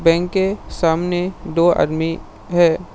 Bank के सामने दो आदमी है।